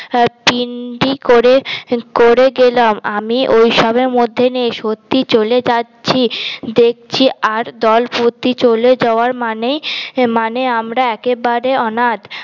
পিন্ডি করে করে গেলাম আমি ওইসবের মধ্যে নেই সত্যি চলে যাচ্ছি দেখছি আর দলপতি চলে যাওয়ার মানে আমরা একেবারে অনাথ